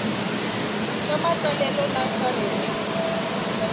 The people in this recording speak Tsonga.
swa matsalelo na swa ririmi